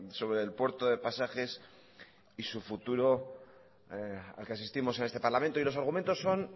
sobre el puerto de pasajes y su futuro al que asistimos en este parlamento y los argumentos son